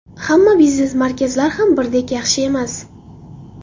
Hamma biznes markazlar ham birdek yaxshi emas.